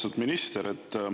Austatud minister!